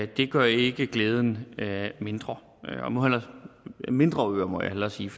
det gør ikke glæden mindre mindre øer må jeg hellere sige